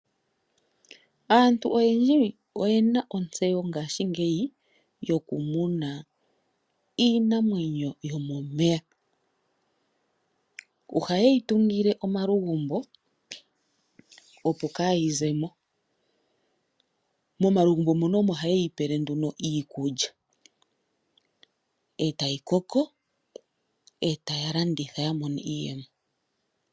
Aantu oyendji oye na ontseyo ngaashingeyi yokumuna iinamwenyo yomomeya. Ohaye yi tungile omalugumbo, opo kaayi ze mo. Momalugumbo mono omo haye yi pele nduno iikulya e tayi koko e taya landitha ya mone iiyemo.